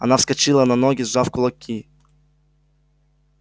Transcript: она вскочила на ноги сжав кулаки